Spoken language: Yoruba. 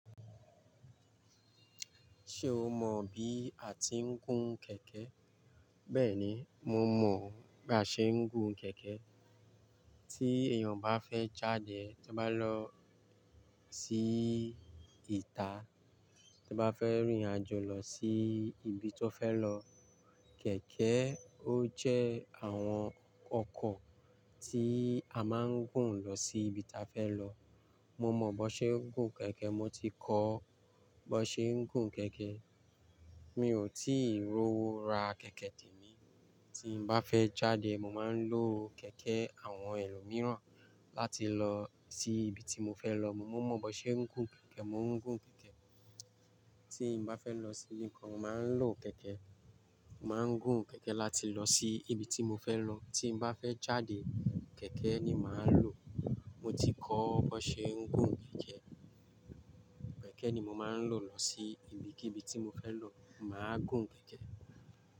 Ṣé o mọ bí a ti ń gùn kẹ̀kẹ́? Bẹ́ẹ̀ni, mo mọ̀ ba ṣe ń gùn kẹ̀kẹ́. Tí èèyàn bá fẹ́ jáde, tí ó bá lọ sí ìta, tí ó bá fẹ́ rìnrìn àjò lọ sí ibi tó fẹ́ lọ, kẹ̀kẹ́ ó jẹ́ àwọn ọkọ̀ tí a máa ń gùn lọ sí ibi ta fẹ́ lọ. Mo mọ bó ṣe ń gùn kẹ̀kẹ́, mo ti kọ́ bó ṣe ń gùn kẹ̀kẹ́. Mi ò tíì rowo ra kẹ̀kẹ́ témi. Tí n bá fẹ́ jáde, mo máa ń lo kẹ̀kẹ́ àwọn ẹlòmíràn láti lọ sí ibi tí mo fẹ́ lọ. Mo mọ bó ṣe ń gùn kẹ̀kẹ́, mo ń gùn kẹ̀kẹ́. Tí n bá fẹ́ lọ sí ibi kan, mo máa ń lo kẹ̀kẹ́. Mo máa ń gùn kẹ̀kẹ́ láti lọ sí ibi tí mo fẹ́ lọ. Tí n bá fẹ́ jáde, kẹ̀kẹ́ ni màá lo. Mo ti kọ́ bó ṣe ń gùn kẹ̀kẹ́. Kẹ̀kẹ́ ni mo máa ń lò lọ sí ibikíbi tí mo fẹ́ lọ. Mo máa gùn kẹ̀kẹ́